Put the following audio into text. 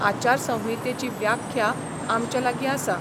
आचारसंहितेची व्याख्या आमचे लागीं आसा.